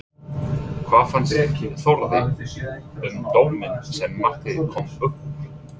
Hvað fannst Þórði um dóminn sem markið kom upp úr?